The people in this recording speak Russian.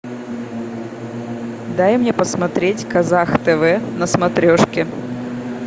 дай мне посмотреть казах тв на смотрешке